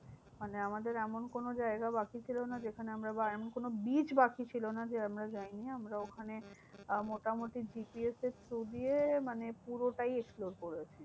মানে আমাদের এমন কোনো জায়গা বাকি ছিল না, যেখানে আমরা বা এমন কোনো beach বাকি ছিল না যে আমরা যায়নি। আমরা ওখানে আহ মোটামুটি GPS এর through দিয়ে মানে পুরোটাই explore করেছি।